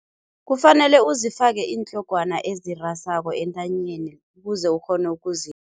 Kufanele uzifake iintlogwana ezirasako entanyeni ukuze ukghone